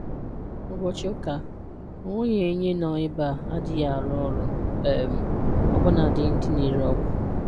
Ụbọchị Ụka, Onweghi onye nọ ebeaa adịghị arụ ọrụ, um ọbụna dị ndị na ere ọgwụ